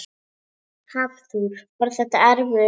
Hafþór: Var þetta erfiður leikur?